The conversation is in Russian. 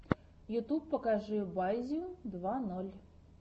ютюб покажи базю два ноль